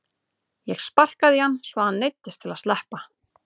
Ég sparkaði í hann svo að hann neyddist til að sleppa.